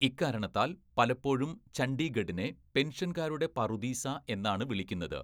ഇക്കാരണത്താൽ പലപ്പോഴും ചണ്ഡീഗഢിനെ പെൻഷൻകാരുടെ പറുദീസ എന്നാണ് വിളിക്കുന്നത്.